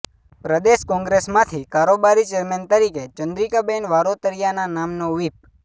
પ્રદેશ કોંગ્રેસમાંથી કારોબારી ચેરમેન તરીકે ચંદ્રિકાબહેન વારોતરિયાના નામનો વ્હીપ